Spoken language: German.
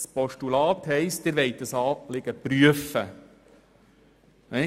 Das Postulat bedeutet, dass die Regierung das Anliegen prüfen will.